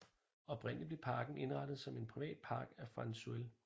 Oprindeligt blev parken indrettet som en privat park af Frans Suell